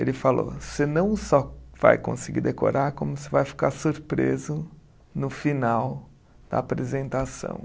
Ele falou, você não só vai conseguir decorar, como você vai ficar surpreso no final da apresentação.